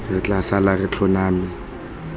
re tla sala re tlhoname